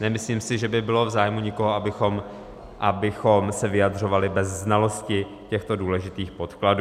Nemyslím si, že by bylo v zájmu nikoho, abychom se vyjadřovali bez znalosti těchto důležitých podkladů.